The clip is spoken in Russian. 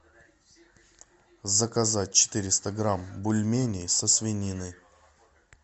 заказать четыреста грамм бульменей со свининой